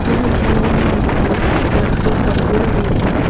यह झील में एक लकड़ी का पुल भी है।